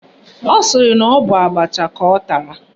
Ọ sịrị na ọ bụ abacha ka ọ tara